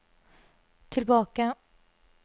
tilbake